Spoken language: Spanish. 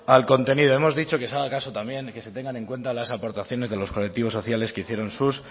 al contenido hemos dicho que se ha dado el caso también que se tengan en cuenta las aportaciones de los colectivos sociales que hicieron sus